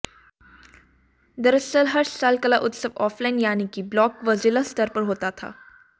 दरअसल हर साल कला उत्सव ऑफलाइन यानी की ब्लॉक व जिला स्तर पर होता था